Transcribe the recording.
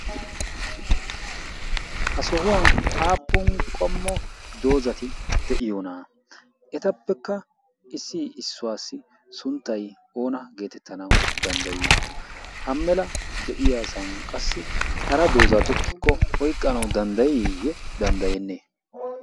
Ha sohuwan aappun qommo doozati de'iyoona etappekka issi issuwassi sunttay oona getettana dandday? ha mela diyaasan qassi hara dooza tokikko oyqqanaw danddayiyye danddayene?